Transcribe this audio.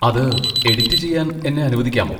അത് എഡിറ്റ് ചെയ്യാൻ എന്നെ അനുവദിക്കാമോ?